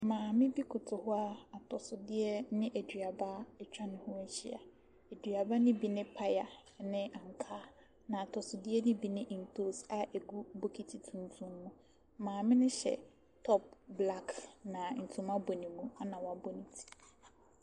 Maame bi koto hɔ a atosodeɛ ne aduaba atwa ne ho ahyia. Aduaba no bi ne paya, ne ankaa. Na atosodeɛ no bi ne ntoosi a ɛgu bokiti tuntum mu. Maame no hyɛ top black, na ntoma bɔ ne mu na wabɔ ne ti.